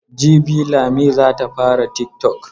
Jibi Lami za ta fara tiktok.